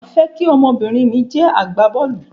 Màá fẹ́ kí ọmọ-bìnrin mi jẹ́ agbá bọ́ọ̀lù.